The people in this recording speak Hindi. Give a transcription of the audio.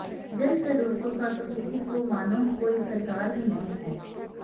जन ज़रूरतों का तो किसी को मानो कोइ सरकार ही नहीं है